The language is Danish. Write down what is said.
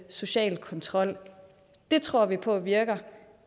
social kontrol det tror vi på virker